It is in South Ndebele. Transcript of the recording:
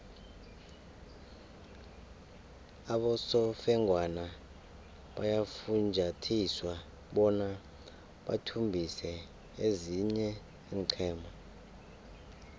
abosofengwana bayafunjathiswa bona bathumbise ezinye iinqhema